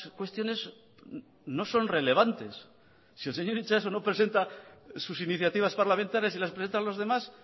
cuestiones no son relevantes si el señor itxaso no presenta sus iniciativas parlamentarias y las presentan los demás